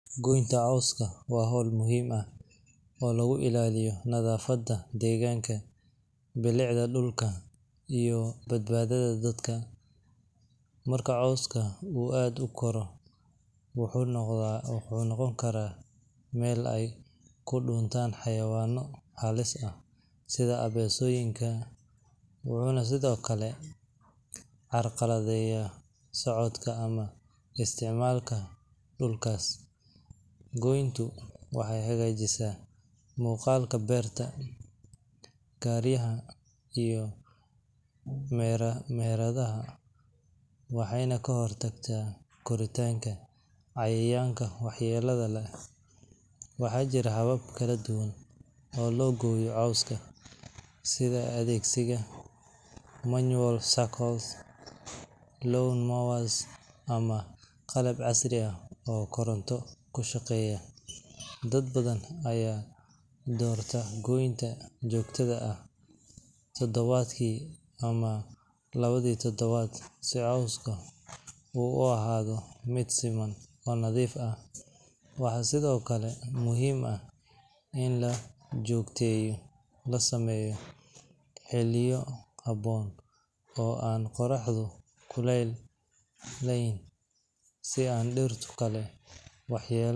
Gooynta cawska waa hawl muhiim ah oo lagu ilaaliyo nadaafadda deegaanka, bilicda dhulka, iyo badbaadada dadka. Marka cawska uu aad u koro, wuxuu noqon karaa meel ay ku dhuuntaan xayawaanno halis ah sida abeesooyinka, wuxuuna sidoo kale carqaladeeyaa socodka ama isticmaalka dhulkaas. Gooyntu waxay hagaajisaa muuqaalka beerta, guryaha, iyo meheradaha, waxayna ka hortagtaa koritaanka cayayaanka waxyeellada leh. Waxaa jira habab kala duwan oo loo gooyo cawska, sida adeegsiga manual sickles, lawn mowers, ama qalab casri ah oo koronto ku shaqeeya. Dad badan ayaa doorta gooynta joogtada ah toddobaadkii ama labadii toddobaadba si cawska uu u ahaado mid siman oo nadiif ah. Waxaa sidoo kale muhiim ah in gooynta la sameeyo xilliyo habboon oo aan qorraxdu kululayn si aan dhirta kale waxyeello